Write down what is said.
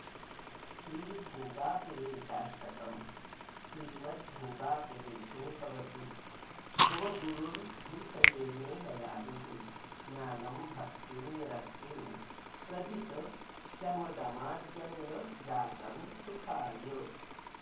श्री भोगापुरेशाष्टकम् श्रीमद्भोगापुरेशो भवतु भवगुरुर्भूतये मे दयालुः ज्ञानं भक्तिं विरक्तिं प्रदित शमदमाद्यङ्गजातं सुखाय